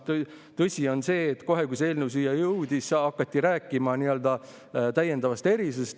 Tõsi on see, et kohe, kui see eelnõu siia jõudis, hakati rääkima täiendavast erisusest.